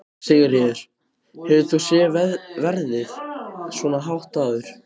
Sigríður: Hefur þú séð verðið svona hátt áður?